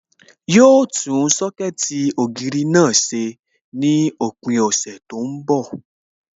Yóò tún Sọ́kẹ̀tì ògiri náà ṣe ní òpin ọ̀sẹ̀ tí ó ń bọ̀